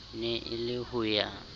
ne e le ho ya